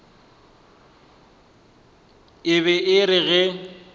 e be e re ge